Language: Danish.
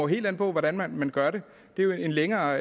helt an på hvordan man gør det det er jo en længere